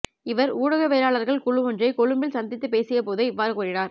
இவர் ஊடகவியலாளர்கள் குழு ஒன்றை கொழும்பில் சந்தித்துப் பேசியபோதே இவ்வாறு கூறினார்